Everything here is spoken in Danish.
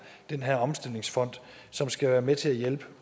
den her omstillingsfond som skal være med til